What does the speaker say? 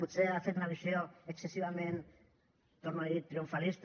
potser ha fet una visió excessivament ho torno a dir triomfalista